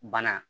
Bana